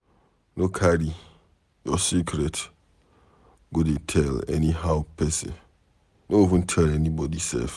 No carry your secret go dey tell anyhow pesin, no even tell anybody sef.